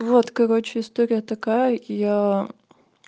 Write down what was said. вот короче история такая я